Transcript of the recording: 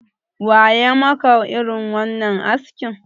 Wa ya maka irin wannan askin?